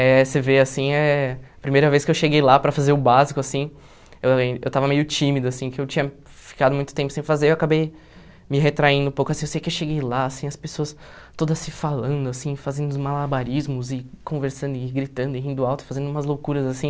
Eh você vê, assim, eh a primeira vez que eu cheguei lá para fazer o básico, assim, eu eu estava meio tímido, assim, que eu tinha ficado muito tempo sem fazer, eu acabei me retraindo um pouco, assim, eu sei que eu cheguei lá, assim, as pessoas todas se falando, assim, fazendo os malabarismos e conversando e gritando e rindo alto, fazendo umas loucuras, assim.